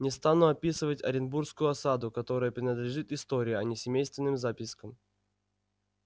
не стану описывать оренбургскую осаду которая принадлежит истории а не семейственным запискам